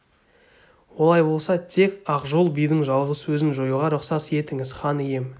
олай болса тек ақжол бидің жалғыз өзін жоюға рұқсат етіңіз хан ием